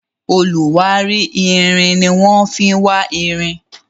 oluwari ìrìn ní wan fí wá ìrìn